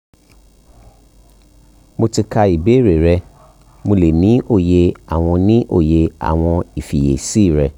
mo ti ka ìbéèrè rẹ ati pe mo le ni oye awọn ni oye awọn ifiyesi rẹ